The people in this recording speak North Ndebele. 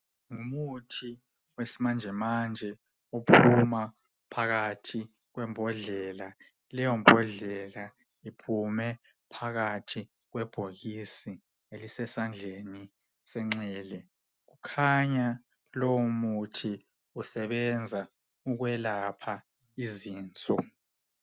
Ngumuthi wesimanjemanje. Ophuma phakathi kwembodlela. Leyombodlela iphume phakathi kwebhokisi elisesandleni senxele. Kukhanya lowomuthi usebenza ukwelapha izinso.